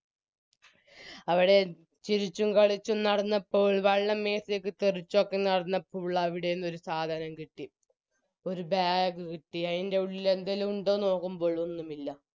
അവിടെ ചിരിച്ചും കളിച്ചും നടന്നപ്പോൾ വള്ളം മെത്തേക്ക് തെറിച്ചൊക്കെ നടന്നപ്പോൾ ളവിടെനിന്നും ഒരുസാധനം കിട്ടി ഒരു bag കിട്ടി അയിന്റെ ഉള്ളിൽ എന്തേലും ഉണ്ടോ നോക്കുമ്പോൾ ഒന്നുമില്ല